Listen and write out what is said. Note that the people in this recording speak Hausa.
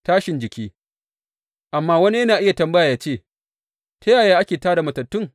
Tashin jiki Amma wani yana iya tambaya yă ce, Ta yaya ake tā da matattun?